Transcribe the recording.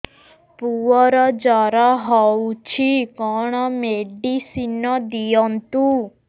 ପୁଅର ଜର ହଉଛି କଣ ମେଡିସିନ ଦିଅନ୍ତୁ